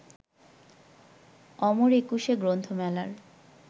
অমর একুশে গ্রন্থমেলার